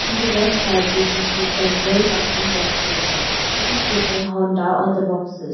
In the left side we can see several cartoon boxes it is written honda on the boxes.